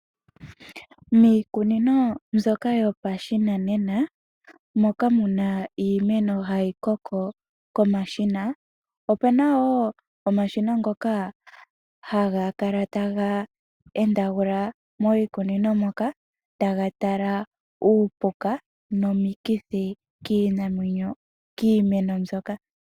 Miikunino mbyoka yopashinanena moka muna iimeno hayi koko komashina, opena wo omashina ngoka haga kala taga endagula miikunino moka taga tala uupuka nomikithi kiimeno mbyoka.